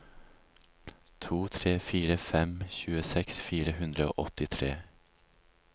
to tre fire fem tjueseks fire hundre og åttitre